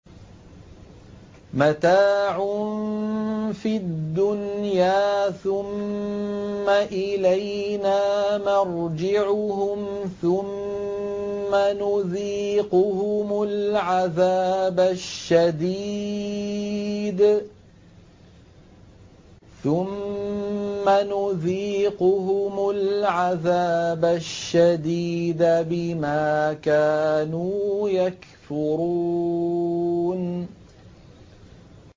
مَتَاعٌ فِي الدُّنْيَا ثُمَّ إِلَيْنَا مَرْجِعُهُمْ ثُمَّ نُذِيقُهُمُ الْعَذَابَ الشَّدِيدَ بِمَا كَانُوا يَكْفُرُونَ